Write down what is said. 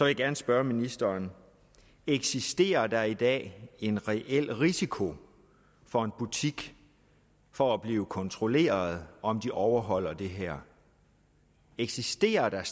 jeg gerne spørge ministeren eksisterer der i dag en reel risiko for en butik for at blive kontrolleret om den overholder det her eksisterer der